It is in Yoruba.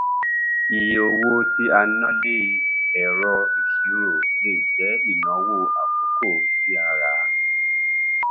iye owó tí a ná lé ẹrọ ìṣirò lè jẹ ìnáwó àkókò tí a rà á